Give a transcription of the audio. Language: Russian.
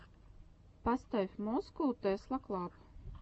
поставь москоу тесла клаб